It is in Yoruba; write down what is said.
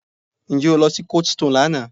Ǹjẹ́ o lọ sí coldstone lánàá?